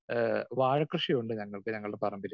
Speaker 2 ഏഹ് വാഴകൃഷി ഉണ്ട് ഞങ്ങൾക്ക് ഞങ്ങളുടെ പറമ്പില്.